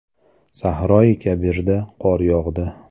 Sahroi Kabirda qor yog‘di .